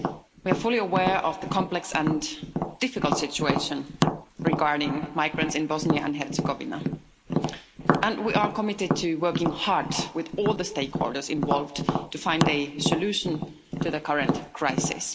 We are fully aware of the complex and difficult situation regarding migrants in Bosnia and Herzegovina, and we are committed to working hard with all the stakeholders involved to find a solution to the current crisis.